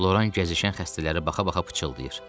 Loran gəzişən xəstələrə baxa-baxa pıçıldayır.